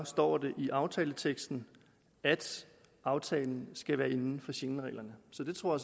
står det i aftaleteksten at aftalen skal være inden for schengenreglerne så det tror